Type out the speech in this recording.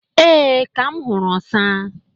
Ee, Ka m huru osa.